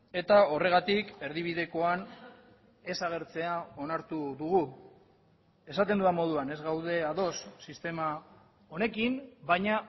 eta horregatik erdibidekoan ez agertzea onartu dugu esaten dudan moduan ez gaude ados sistema honekin baina